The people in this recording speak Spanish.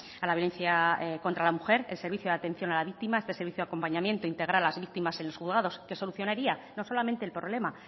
a la violencia contra la mujer el servicio de atención a la víctima este servicio de acompañamiento integral a las víctimas en los juzgados qué solucionaría no solamente el problema